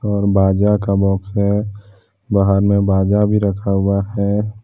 और बाजा का बॉक्स है बाहर में बाजा भी रखा हुआ है।